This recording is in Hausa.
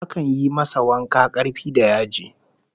Akan yi masa wanka karfi da yaji